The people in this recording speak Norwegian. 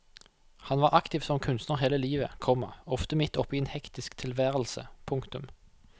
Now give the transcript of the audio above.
Han var aktiv som kunstner hele livet, komma ofte midt oppe i en hektisk tilværelse. punktum